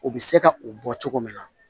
U bɛ se ka u bɔ cogo min na